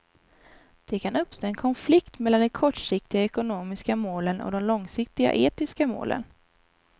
Det kan uppstå en konflikt mellan de kortsiktiga ekonomiska målen och de långsiktiga etiska målen.